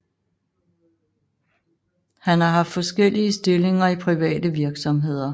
Han har haft forskellige stillinger i private virksomheder